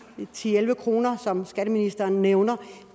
ti til elleve kr som skatteministeren nævner